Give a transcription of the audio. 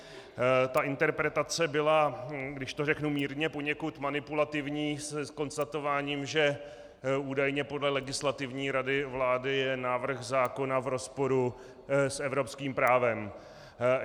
Ta interpretace byla, když to řeknu mírně, poněkud manipulativní, s konstatováním, že údajně podle Legislativní rady vlády je návrh zákona v rozporu s evropským právem.